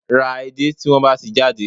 Ra edé tí wọ́n bá ti jáde